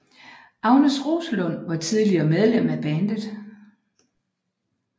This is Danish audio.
Agnes Roslund var tidlig medlem af bandet